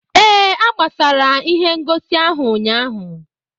Ee, a gbasara ihe ngosi ahụ ụnyaahụ.